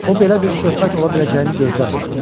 O belə bir söhbət ola biləcəyini gözləmirdi.